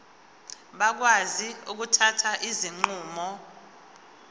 bakwazi ukuthatha izinqumo